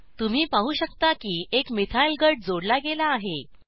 तुम्ही पाहू शकता की एक मिथाइल गट जोडला गेला आहे